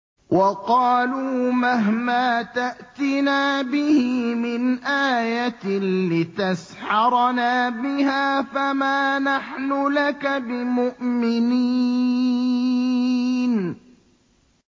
وَقَالُوا مَهْمَا تَأْتِنَا بِهِ مِنْ آيَةٍ لِّتَسْحَرَنَا بِهَا فَمَا نَحْنُ لَكَ بِمُؤْمِنِينَ